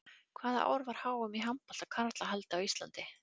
Hvaða ár var HM í handbolta karla haldið á Íslandi?